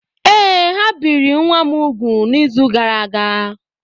Ee, ha biri nwa m úgwù n’izu gara aga.